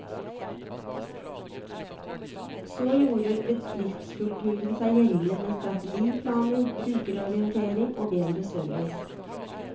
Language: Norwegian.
Så gjorde bedriftskulturen seg gjeldende med strategiplaner, brukerorientering og bedre service.